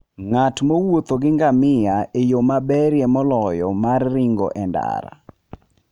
Ng'at mowuotho gi ngamia e yo maberie moloyo mar ringo e ndara.